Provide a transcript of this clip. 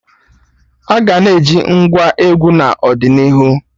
Aga na-eji Ngwá egwu n'ọdịnihu